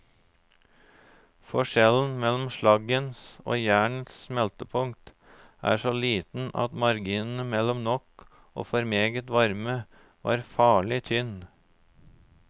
Forskjellen mellom slaggens og jernets smeltepunkt er så liten at marginen mellom nok og for meget varme var farlig tynn.